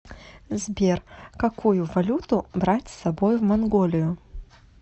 сбер какую валюту брать с собой в монголию